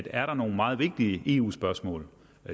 er nogle meget vigtige eu spørgsmål